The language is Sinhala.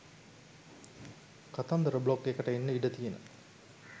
කතන්දර බ්ලොග් එකට එන්න ඉඩ තියෙන